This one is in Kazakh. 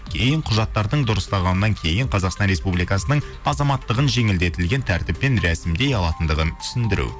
кейін құжаттардың дұрысталғаннан кейін қазақстан республикасының азаматтығын жеңілдетілген тәртіппен рәсімдей алатындығын түсіндіру